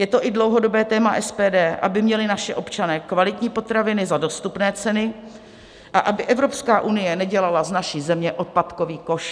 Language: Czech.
Je to i dlouhodobé téma SPD, aby měli naši občané kvalitní potraviny za dostupné ceny a aby Evropská unie nedělala z naší země odpadkový koš.